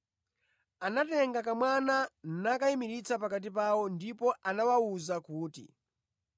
Anatenga kamwana nakayimiritsa pakati pawo ndipo anawawuza kuti,